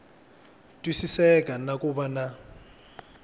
twisiseka na ku va na